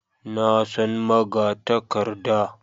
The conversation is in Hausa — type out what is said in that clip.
Na san magatakarda